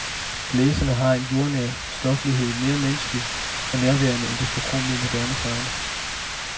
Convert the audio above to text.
Blæserne har en jordnær stoflighed, mere menneskelig og nærværende end den forkromede moderne sound.